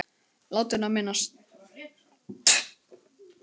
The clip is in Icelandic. Látinna minnst.